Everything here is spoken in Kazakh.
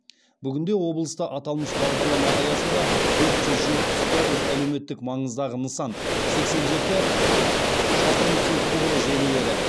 бүгінде облыста аталмыш бағдарлама аясында төрт жүз жетпіс тоғыз әлеуметтік маңыздағы нысан сексен жеті шақырым су құбыры желілері